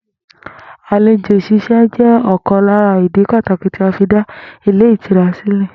Àlejò s̩ís̩e jé̩ ò̩kan lára ìdí pàtàkì tí a fi dá ilé ìtura sílè̩